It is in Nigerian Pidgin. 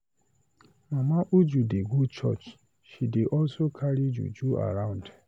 Mama Uju dey go church, she dey also carry juju around.